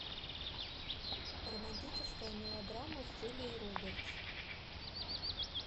романтическая мелодрама с джулией робертс